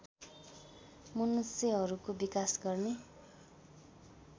मनुष्यहरूको विकास गर्ने